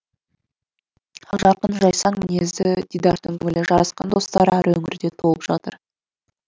ақжарқын жайсаң мінезді дидаштың көңілі жарасқан достары әр өңірде толып жатыр